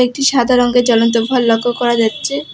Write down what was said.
একটি সাদা রঙ্গের জ্বলন্ত ভল লক্ষ্য করা যাচ্ছে।